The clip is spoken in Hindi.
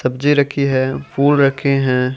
सब्जी रखी है फूल रखे हैं।